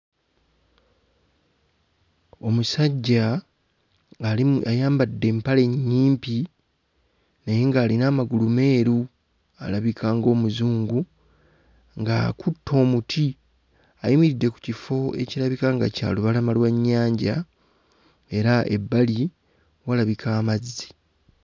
Omusajja ali mu ayambadde empale nnyimpi naye ng'alina amagulu meeru. Alabika ng'Omuzungu, ng'akutte omuti. Ayimiridde ku kifo ekirabika nga kya lubalama lwa nnyanja era ebbali walabika amazzi.